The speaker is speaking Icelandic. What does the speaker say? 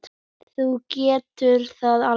Þú getur það alveg.